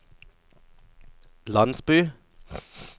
landsby